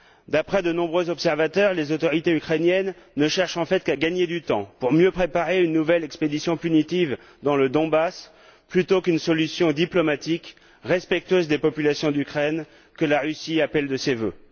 D'après de nombreux observateurs, les autorités ukrainiennes ne cherchent en fait qu'à gagner du temps pour mieux préparer une nouvelle expédition punitive dans le Donbass, plutôt qu'une solution diplomatique, respectueuse des populations d'Ukraine, que la Russie appelle de ses vœux.